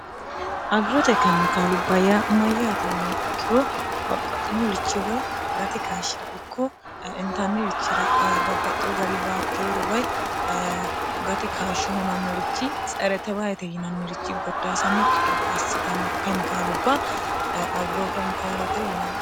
agirote kemikaalubbayya mayyaati yiniya ikkiroo babbaxxinorichi woy gati kaashshi'ra ikko intannirichira babbaxxiho gari baakkeeru wy gati kashsho hunannorichi tserete bayete yinannirichi goddaasannokki gede assitanno kemikaalubba agiroo kemikaalete yinanni